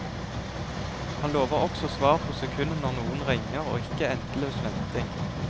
Han lover også svar på sekundet når noen ringer, og ikke endeløs venting.